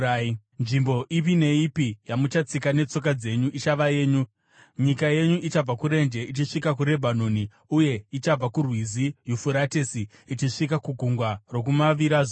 Nzvimbo ipi neipi yamuchatsika netsoka dzenyu ichava yenyu: Nyika yenyu ichabva kurenje ichisvika kuRebhanoni, uye ichabva kuRwizi Yufuratesi ichisvika kugungwa rokumavirazuva.